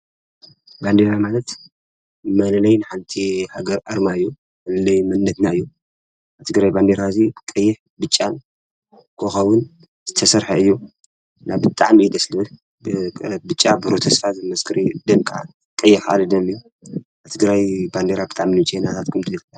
ባንዴራ ማለት መለለዪ ናይ ሓንቲ ሃገር ኣርማ እዩ። መለለዪ መንነትና እዩ። ናይ ትግራይ ባንዴራ ህዚ ቀይሕ ፣ብጫን ኮኾብን፣ ዝተሰርሐ እዩ። እና ብጣዓሚ እዩ ደስ ልብል። ብጫ ብሩህ ተስፋ ዘመስክር እዩ። ደም ከዓ ቀይሕ ካዓ ደም እዩ። ናይ ትግራይ ባንዴራ እዩ ልምችየኒ ላታትኩም ከ?